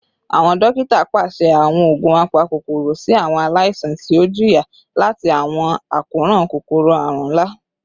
Awọn dokita paṣẹ awọn oogun apakokoro si awọn alaisan ti o jiya lati awọn akoran kokoro-arun nla